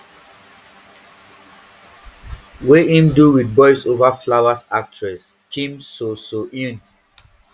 wey im do wit boys over flowers actress kim so so eun